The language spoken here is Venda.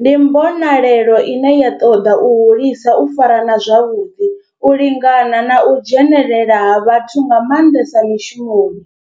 ndi mbonelelo ine ya toda u hulisa u farana zwavhudi, u lingana na u dzhenelela ha vhathu nga mandesa mishumoni.